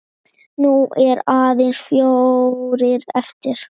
Nú eru aðeins fjórir eftir.